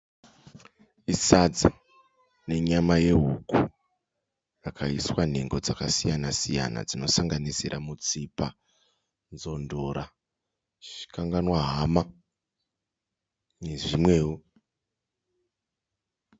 Sadza nenyama yehuku rakaiswa nhengo dzakasiyana-siyana dzinosanganisira mutsipa, nzondora, chikanganwahama nezvimwewo.